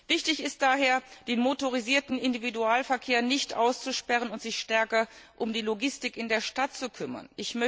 Wichtig ist daher, den motorisierten Individualverkehr nicht auszusperren und sich stärker um die Logistik in der Stadt zu kümmern.